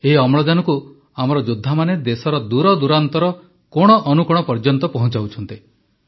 ଏହି ଅମ୍ଳଜାନକୁ ଆମର ଯୋଦ୍ଧାମାନେ ଦେଶର ଦୂରଦୂରାନ୍ତର କୋଣଅନୁକୋଣ ପର୍ଯ୍ୟନ୍ତ ପହଁଚାଉଛନ୍ତି